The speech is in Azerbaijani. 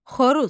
Xoruz.